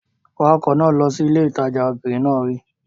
Wa ọkọ̀ náà lọ sí ilé ìtajà! Obìnrin náà wí.